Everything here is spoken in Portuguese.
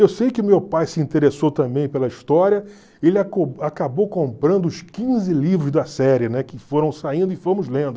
Eu sei que meu pai se interessou também pela história, ele acabou comprando os quinze livros da série, né, que foram saindo e fomos lendo.